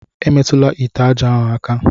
Emetụla ite aja ahu aka!